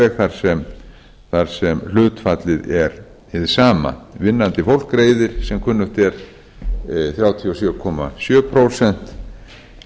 farveg þar sem hlutfallið er hið sama vinnandi fólk greiðir sem kunnugt er þrjátíu og sjö sjö prósent